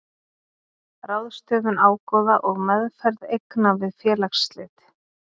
Ráðstöfun ágóða og meðferð eigna við félagsslit.